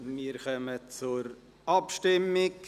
Wir kommen zur Abstimmung.